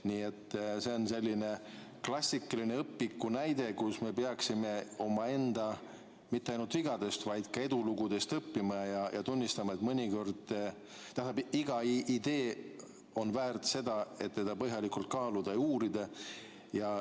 Nii et see on selline klassikaline õpikunäide, kus me peaksime mitte ainult omaenda vigadest, vaid ka edulugudest õppima ja tunnistama: iga idee on väärt seda, et seda põhjalikult kaaluda ja uurida.